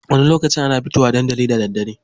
Wani lokaci ana fito wa dandali da daddare.